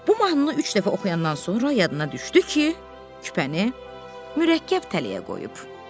Bu mahnını üç dəfə oxuyandan sonra yadına düşdü ki, küpəni mürəkkəb tələyə qoyub.